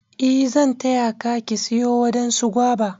E zan taya Ka/ ki siyo wadansu guava.